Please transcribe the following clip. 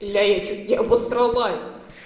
и я её чуть не обосралась